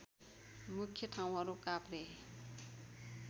मुख्य ठाउँहरू काभ्रे